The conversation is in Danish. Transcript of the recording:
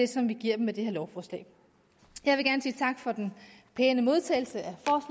som vi giver dem med det her lovforslag jeg vil gerne sige tak for den pæne modtagelse